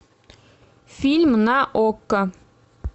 фильм на окко